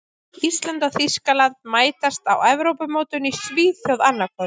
Ísland og Þýskaland mætast á Evrópumótinu í Svíþjóð annað kvöld.